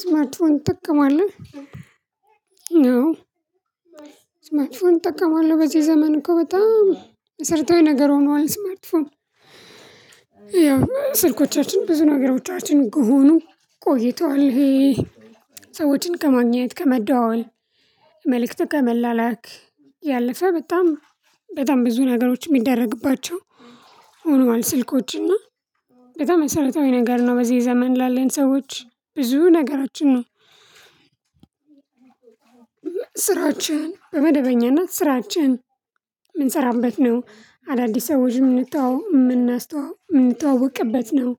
ስማርት ፎን እጠቀማለው አው ስማርት ፎን እጠቀማለው በዚ ዘመን እኮ በጣም መሰረታዊ ነገር ሆኗል። ስማርትፎን ያው ስልኮቻችን ብዙ ነገሮቻችን ከሆኑ ቆይቷል። ይሄ ሰዎችን ከማግኘት ከመደዋወል መልእክት ከመላላክ ያለፈ በጣም በጣም ብዙ ነገሮች ሚደረግባቸው ሆኗል። ስልኮች እና በጣም መሰረታዊ ነገር ነው። በዚህ ዘመን ላለን ሰዎች ብዙ ነገራችን ነው። ስራዎችን በመደበኛነት ስራችን ምንሰራበት ነው። አዳዲስ ሰዎች ምንተዋወቅበት ነው።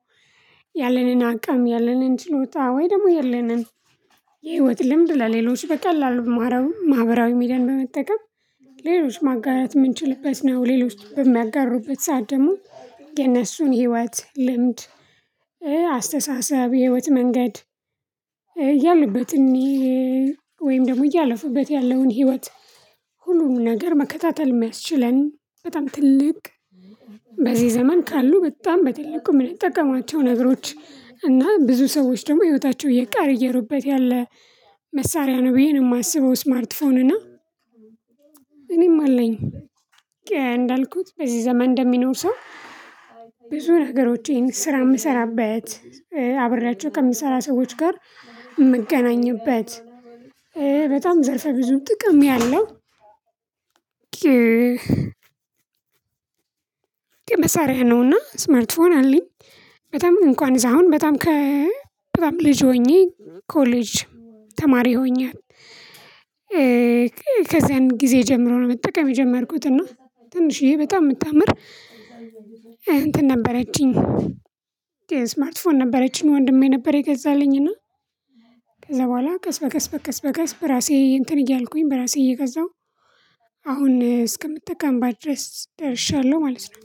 ያለንን አቅም ያለንን ችሎታ ወይ ደሞ ያለንን የህይወት ልምድ ለሌሎች በቀላሉ ማህበራዊ ሚዲያን በመጠቀም ሌሎች ማጋራት ምንችልበት ነው። ሌሎች በሚያጋሩበት ሰዓት ደሞ የነሱን ህይወት ልምድ አስተሳሰብ የህይወት መንገድ ያሉበትን ወይም ደሞ እያለፉበት ያለውን ህይወት። ሁሉንም ነገር መከታተል ሚያስችለን በጣም ትልቅ በዚ ዘመን ካሉ በጣም በትልቁ ምንጠቀማቸው ነገሮች እና ብዙ ሰዎች ደሞ ህይወታቸው እየቀያየሩበት ያለ መሳሪያ ነው። ብዬ ነው ማስበው። ስማርትፎን እና እኔም አለኝ። እንዳልኩት በዚህ ዘመን እንደሚኖር ሰው ብዙ ነገሮቼን ስራ ምሰራበት አብሬያቸው ከምሰራ ሰዎች ጋር ምገናኝበት በጣም ዘርፈ ብዙ ጥቅም ያለው። መሳሪያ ነውና ስማርት ፎን አለኝ። በጣም እንኳን እዛ አሁን በጣም ከ በጣም ልጅ ሆኜ ኮሌጅ ተማሪ ሆኜ ከዛን ጊዜ ጀምሮ ነው መጠቀም የጀመርኩት። እና ትንሽዬ በጣም ምታምር እንትን ነበረችኝ ስማርትፎን ነበረችኝ ወንድሜ ነበር የገዛልኝ እና ከዛ በኋላ ቀስ በቀስ በቀስ በቀስ በራሴ እንትን እያልኩኝ በራሴ እየገዛው አሁን እስከምጠቀምባት ድረስ ደርሼያለው። ማለት ነው።